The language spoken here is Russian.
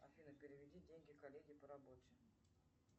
афина переведи деньги коллеге по работе